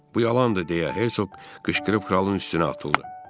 Bu yalandır, deyə Hersoq qışqırıb kralın üstünə atıldı.